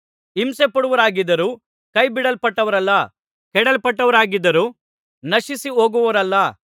ಹಿಂಸೆಪಡುವವರಾಗಿದ್ದರೂ ಕೈಬಿಡಲ್ಪಟ್ಟವರಲ್ಲ ಕೆಡವಲ್ಪಟ್ಟವರಾಗಿದ್ದರೂ ನಶಿಸಿಹೊಗುವವರಲ್ಲ